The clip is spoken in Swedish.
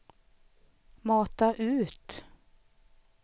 mata ut